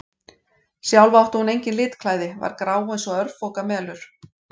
Sjálf átti hún engin litklæði, var grá eins og örfoka melur.